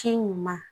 Ci ɲuman